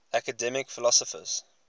academic philosophers